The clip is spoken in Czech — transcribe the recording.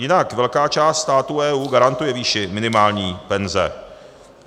Jinak velká část států EU garantuje výši minimální penze.